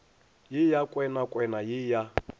ye ya kwenakwena ye ya